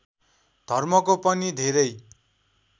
धर्मको पनि धेरै